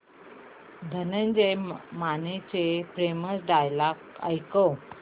धनंजय मानेचे famous dialogue ऐकव